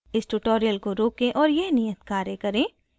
इस tutorial को रोकें और यह नियत कार्य करें